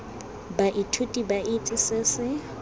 baithuti ba itse se se